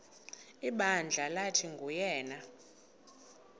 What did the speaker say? ibandla lathi nguyena